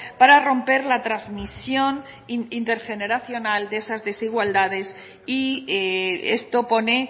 para romper la transmisión intergeneracional de esas desigualdades y esto pone